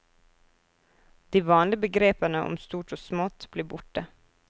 De vanlige begrepene om stort og smått blir borte.